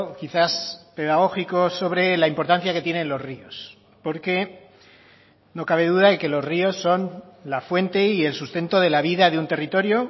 quizás pedagógico sobre la importancia que tienen los ríos porque no cabe duda de que los ríos son la fuente y el sustento de la vida de un territorio